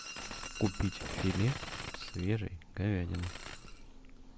купить филе свежей говядины